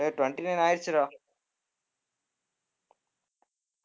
ஏய் twenty-nine ஆயிடுச்சுடா